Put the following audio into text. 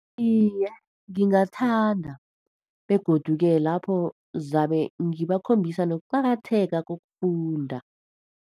Iye, ngingathanda. Begodu-ke lapho zabe ngibakhombisa nokuqakatheka kokufunda.